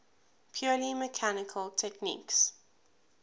purely mechanical techniques